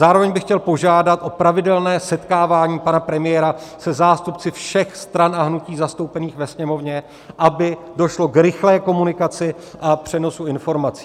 Zároveň bych chtěl požádat o pravidelné setkávání pana premiéra se zástupci všech stran a hnutí zastoupených ve Sněmovně, aby došlo k rychlé komunikaci a přenosu informací.